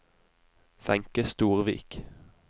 Wenche Storvik